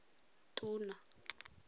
tona